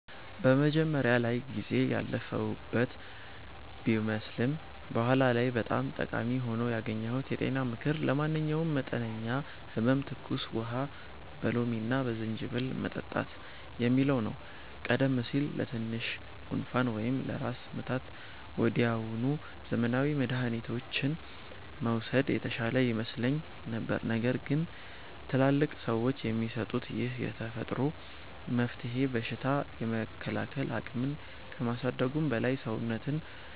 መጀመሪያ ላይ ጊዜ ያለፈበት ቢመስልም በኋላ ላይ በጣም ጠቃሚ ሆኖ ያገኘሁት የጤና ምክር 'ለማንኛውም መጠነኛ ህመም ትኩስ ውሃ በሎሚና በዝንጅብል መጠጣት' የሚለው ነው። ቀደም ሲል ለትንሽ ጉንፋን ወይም ለራስ ምታት ወዲያውኑ ዘመናዊ መድኃኒቶችን መውሰድ የተሻለ ይመስለኝ ነበር። ነገር ግን ትላልቅ ሰዎች የሚሰጡት ይህ የተፈጥሮ መፍትሄ በሽታ የመከላከል አቅምን ከማሳደጉም በላይ፣ ሰውነትን